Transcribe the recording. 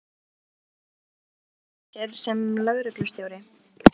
Höskuldur Kári: Á hún að segja af sér sem lögreglustjóri?